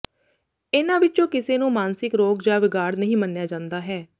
ਇਹਨਾਂ ਵਿਚੋਂ ਕਿਸੇ ਨੂੰ ਮਾਨਸਿਕ ਰੋਗ ਜਾਂ ਵਿਗਾੜ ਨਹੀਂ ਮੰਨਿਆ ਜਾਂਦਾ ਹੈ